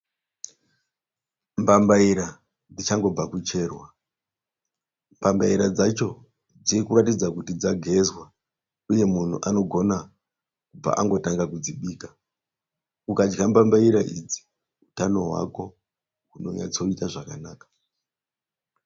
Mbambaira dzichangobva kucherwa. Mbambaira dzacho dziri kuratidza kuti dzagezwa. Uye munhu anogona paangotanga kudzibika. Ukadya mbambaira idzi utano hwako hunonatsoita zvakanaka.